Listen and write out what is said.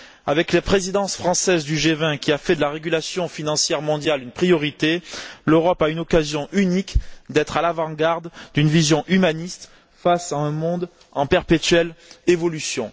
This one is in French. Avec la présidence française du G20, qui a fait de la régulation financière mondiale une priorité, l'Europe a une occasion unique d'être à l'avant garde d'une vision humaniste face à un monde en perpétuelle évolution.